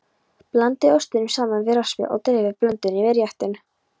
Blandið ostinum saman við raspið og dreifið blöndunni yfir réttinn.